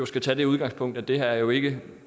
skal tage udgangspunkt i at det her jo ikke